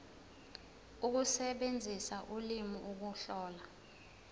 ukusebenzisa ulimi ukuhlola